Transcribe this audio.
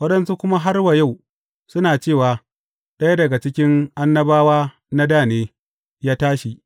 Waɗansu kuma har wa yau, suna cewa, ɗaya daga cikin annabawa na dā ne, ya tashi.